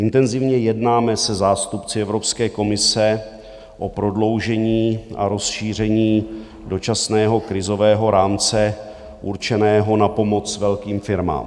Intenzivně jednáme se zástupci Evropské komise o prodloužení a rozšíření dočasného krizového rámce určeného na pomoc velkým firmám.